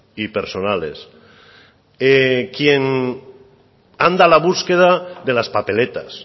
y personales quien anda a la búsqueda de las papeletas